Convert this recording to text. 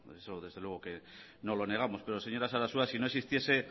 eso desde luego que no lo negamos pero señora sarasua si no existiese